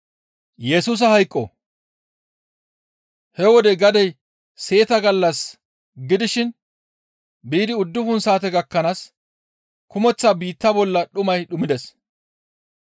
He wode gadey seeta gallas gidishin biidi uddufun saate gakkanaas kumeththa biitta bolla dhumay dhumides.